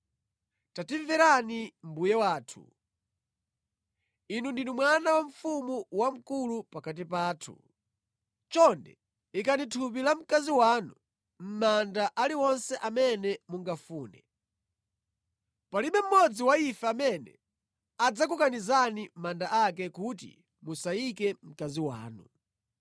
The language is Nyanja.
“Tatimverani mbuye wathu, inu ndinu mwana wa mfumu wamkulu pakati pathu. Chonde ikani thupi la mkazi wanu mʼmanda aliwonse amene mungafune. Palibe mmodzi wa ife amene adzakukanizani manda ake kuti musayike mkazi wanu.”